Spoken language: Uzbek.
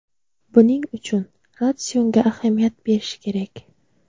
Buning uchun ratsionga ahamiyat berish kerak.